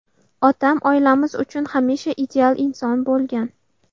Otam – oilamiz uchun hamisha ideal inson bo‘lgan.